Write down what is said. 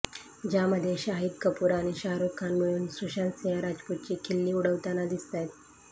ज्यामध्ये शाहीद कपूर आणि शाहरुख खान मिळून सुशांत सिंह राजपूतची खिल्ली उडवताना दिसतायत